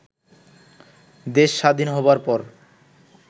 দেশ স্বাধীন হওয়ার পর